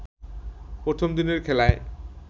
প্রথম দিনের খেলায়